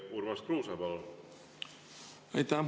Urmas Kruuse, palun!